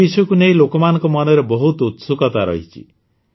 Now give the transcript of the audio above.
ଏ ବିଷୟକୁ ନେଇ ଲୋକମାନଙ୍କ ମନରେ ବହୁତ ଉତ୍ସୁକତା ରହିଛି